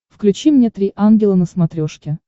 включи мне три ангела на смотрешке